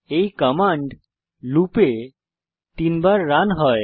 এই command loop এ 3 বার রান হয়